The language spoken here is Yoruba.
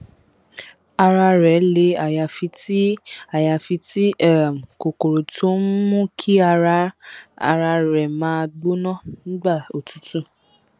ara rẹ le àyàfi tí àyàfi tí um kòkòrò tó ń mú kí ara rẹ máa gbóná nígbà òtútù